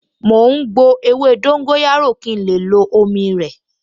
Mò ń gbo ewé dóńgóyárò kí n lè lo omi rẹ̀